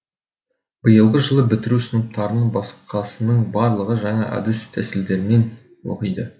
биылғы жылы бітіру сыныптарынан басқасының барлығы жаңа әдіс тәсілдермен оқиды